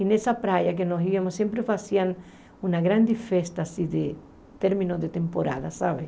E nessa praia que nós íamos, sempre faziam uma grande festa, assim, de término de temporada, sabe?